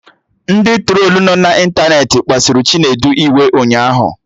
Ndị trolu nọ na ịntanetị kpasuru Chinedu iwe ụnyaahụ